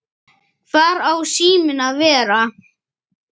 Hvar á síminn að vera?